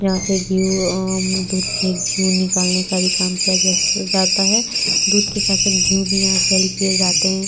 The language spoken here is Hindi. यहाँ से घी उ अं दूध से घी उ निकलने का भी काम किया जा जाता है दूध के साथ-साथ घी उ भी यहाँ सेल किये जाते हैं।